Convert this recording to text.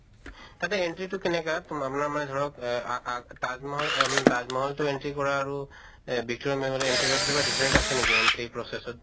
তাতে entry তো কেনেকা তোম আপোনাৰ মানে ধৰক এহ আ আ তাজ মহল এহ মানে তাজ মহল্তো entry কৰা আৰু এহ victoria memorial entry কৰাৰ কিবা different আছে নেকি process ত?